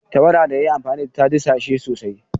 Tawada da ya yi amfani da ita ta dishe sosai.